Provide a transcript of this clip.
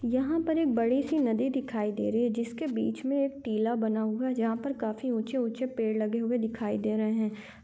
यहाँ पर एक बड़ी सी नदी दिखाई दे रही है जिसके बिच में एक टीला बना हुआ जहाँ पे काफी ऊँचे ऊँचे पेड़ लगे दिखाई दे रहे है।